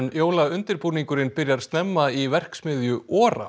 jólaundirbúningurinn byrjar snemma í verksmiðju